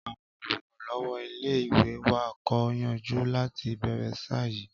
Àwọn olùrànlọ́wọ́ ilé-ìwé wa kò yọjú láti ìbẹ̀rẹ̀ ṣáá yìí